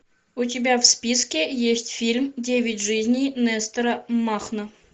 у тебя в списке есть фильм девять жизней нестора махно